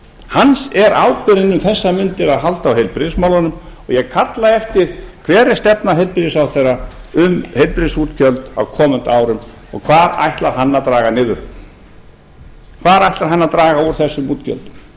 hans er ábyrgðin um þessar mundir að halda á heilbrigðismálunum og ég kalla eftir hver er stefna heilbrigðisráðherra um heilbrigðisútgjöld á komandi árum og hvað ætlar hann að draga niður hvar ætlar hann að draga úr þessum útgjöldum